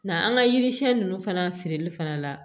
Nga an ka yiri siɲɛ ninnu fana feereli fana la